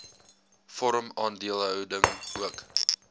vorm aandeelhouding ook